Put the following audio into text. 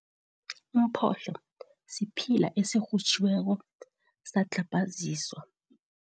Umphohlo siphila esirhutjhiweko, sadlhabhaziswa.